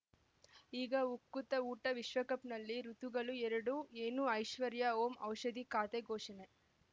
ಈಗ ಉಕುತ ಊಟ ವಿಶ್ವಕಪ್‌ನಲ್ಲಿ ಋತುಗಳು ಎರಡು ಏನು ಐಶ್ವರ್ಯಾ ಓಂ ಔಷಧಿ ಖಾತೆ ಘೋಷಣೆ